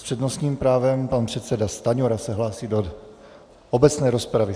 S přednostním právem pan předseda Stanjura se hlásí do obecné rozpravy.